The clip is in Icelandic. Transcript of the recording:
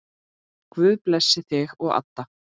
Guð blessi þig og Adda.